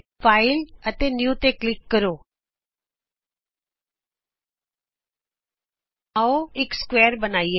file new file ਜੀਟੀਜੀਟੀ New ਤੇ click ਕਰੋ ਆਉ ਇਕ ਸਮਕੋਣ ਚਤੁਰਭੁਜ ਬਣਾਈਏ